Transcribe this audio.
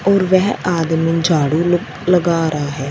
और वेह आदमी झाड़ू लो लगा रहा है।